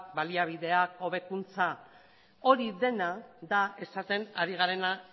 baliabideak hobekuntza hori dena da esaten ari garena